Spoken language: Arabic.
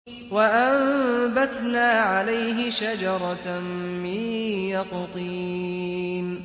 وَأَنبَتْنَا عَلَيْهِ شَجَرَةً مِّن يَقْطِينٍ